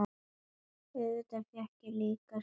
Auðvitað fékk ég líka sama svarið núna.